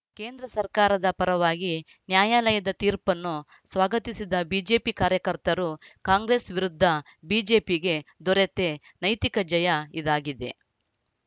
ಕೇಂದ್ರ ಸರ್ಕಾರದ ಪರವಾಗಿ ನ್ಯಾಯಾಲಯದ ತೀರ್ಪನ್ನು ಸ್ವಾಗತಿಸಿದ ಬಿಜೆಪಿ ಕಾರ್ಯಕರ್ತರು ಕಾಂಗ್ರೆಸ್‌ ವಿರುದ್ಧ ಬಿಜೆಪಿಗೆ ದೊರತೆ ನೈತಿಕ ಜಯ ಇದಾಗಿದೆ